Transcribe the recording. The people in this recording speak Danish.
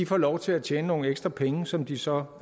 får lov til at tjene nogle ekstra penge som de så